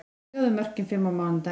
Sjáðu mörkin fimm á mánudaginn: